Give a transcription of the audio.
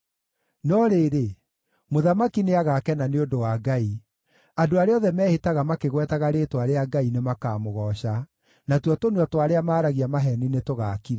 No rĩrĩ, mũthamaki nĩagakena nĩ ũndũ wa Ngai; andũ arĩa othe mehĩtaga makĩgwetaga rĩĩtwa rĩa Ngai nĩmakamũgooca, natuo tũnua twa arĩa maaragia maheeni nĩtũgaakirio.